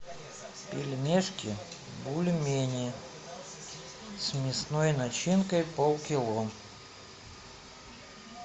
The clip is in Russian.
пельмешки бульмени с мясной начинкой полкило